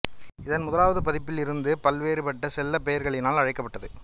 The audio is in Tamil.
இதன் முதலாவது பதிப்பில் இருந்து பல்வேறுபட்ட செல்லப் பெயர்களினால் அழைக்கப்பட்டது